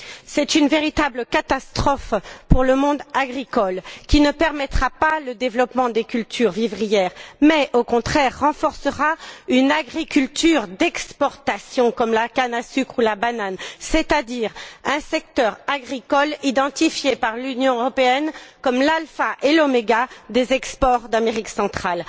C'est une véritable catastrophe pour le monde agricole, qui ne permettra pas le développement des cultures vivrières, mais au contraire renforcera une agriculture d'exportation, comme la canne à sucre ou la banane, c'est à dire un secteur agricole identifié par l'Union européenne comme l'alpha et l'omega des exportations d'Amérique centrale.